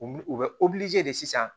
U u bɛ de sisan